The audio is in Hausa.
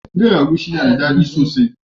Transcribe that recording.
Miyan agushi na da daddi sosai.